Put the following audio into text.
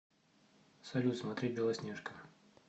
салют смотреть белоснежка